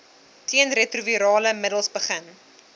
teenretrovirale middels begin